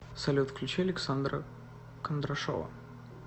салют включи александра кондрашова